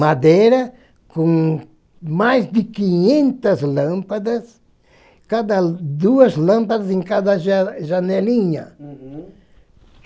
Madeira com mais de quinhentas lâmpadas, cada duas lâmpadas em cada ja janelinha. Uhum